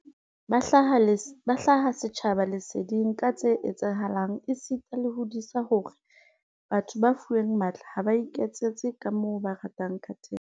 Ba hlaha setjhaba leseding ka tse etsahalang esita le ho disa hore batho ba fuweng matla ha ba iketsetse kamoo ba ratang ka teng.